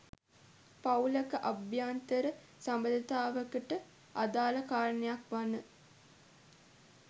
පවූලක අභ්‍යන්තර සබඳතාවකට අදාළ කාරණයක් වන